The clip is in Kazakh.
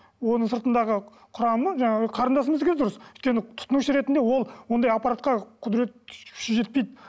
оның сыртындағы құрамы жаңағы қарындасымыздікі де дұрыс өйткені тұтынушы ретінде ол ондай аппаратқа құдірет күші жетпейді